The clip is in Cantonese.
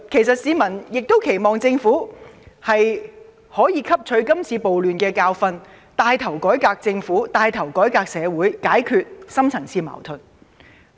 市民亦期望政府可以從今次暴亂汲取教訓，牽頭改革政府和社會，解決深層次矛盾。